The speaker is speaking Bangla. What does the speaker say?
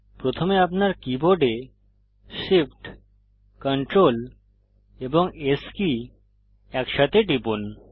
প্রথমে আপনার কীবোর্ডে Shift Ctrl এবং S কী একসাথে টিপুন